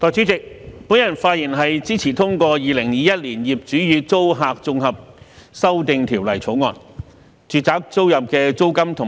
代理主席，我發言支持《2021年業主與租客條例草案》。